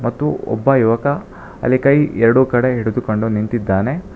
ಮತ್ತು ಒಬ್ಬ ಯುವಕ ಅಲ್ಲಿ ಕೈ ಎರಡು ಕಡೆ ಹಿಡಿದುಕೊಂಡು ನಿಂತಿದ್ದಾನೆ.